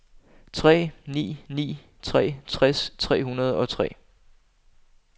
tre ni ni tre tres tre hundrede og tre